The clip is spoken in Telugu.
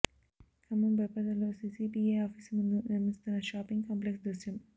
ఖమ్మం బైపాస్ రోడ్డులో సీసీపీఐ ఆఫీసు ముందు నిర్మిస్తున్న షాపింగ్ కాంప్లెక్స్ దృశ్యం